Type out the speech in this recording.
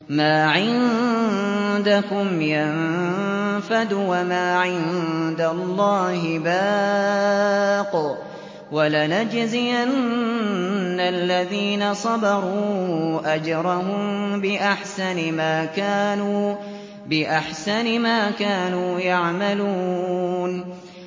مَا عِندَكُمْ يَنفَدُ ۖ وَمَا عِندَ اللَّهِ بَاقٍ ۗ وَلَنَجْزِيَنَّ الَّذِينَ صَبَرُوا أَجْرَهُم بِأَحْسَنِ مَا كَانُوا يَعْمَلُونَ